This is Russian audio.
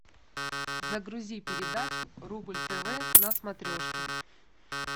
загрузи передачу рубль тв на смотрешке